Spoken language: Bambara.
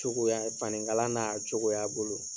Cogoya fani kala n'a cogoya bolo.